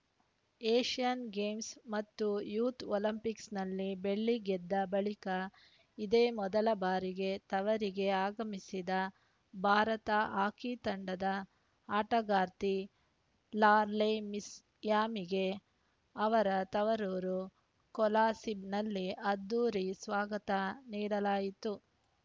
Asian Games ಮತ್ತು youth ಒಲಿಂಪಿಕ್ಸ್‌ನಲ್ಲಿ ಬೆಳ್ಳಿ ಗೆದ್ದ ಬಳಿಕ ಇದೇ ಮೊದಲ ಬಾರಿಗೆ ತವರಿಗೆ ಆಗಮಿಸಿದ ಭಾರತ ಹಾಕಿ ತಂಡದ ಆಟಗಾರ್ತಿ ಲಾಲ್ರೆಮ್ಸಿಯಾಮಿಗೆ ಅವರ ತವರೂರು ಕೊಲಾಸಿಬ್‌ನಲ್ಲಿ ಅದ್ಧೂರಿ ಸ್ವಾಗತ ನೀಡಲಾಯಿತು